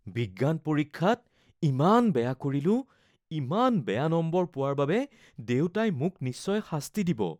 বিজ্ঞান পৰীক্ষাত ইমান বেয়া কৰিলোঁ। ইমান বেয়া নম্বৰ পোৱাৰ বাবে দেউতাই মোক নিশ্চয় শাস্তি দিব।